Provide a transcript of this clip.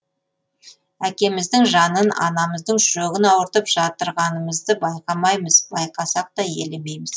әкеміздің жанын анамыздың жүрегін ауыртып жатырғанымызды байқамаймыз байқасақ та елемейміз